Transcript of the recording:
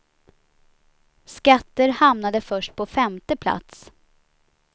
Skatter hamnade först på femte plats.